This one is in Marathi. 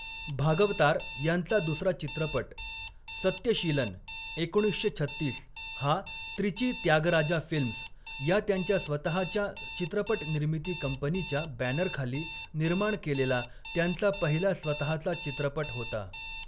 भागवतार यांचा दुसरा चित्रपट, 'सत्यशीलन' एकोणीसशे छत्तीस हा 'त्रिची त्यागराजा फिल्म्स' या त्यांच्या स्वतहाच्या चित्रपट निर्मिती कंपनीच्या बॅनर खाली निर्माण केलेला त्यांचा पहिला स्वतहाचा चित्रपट होता.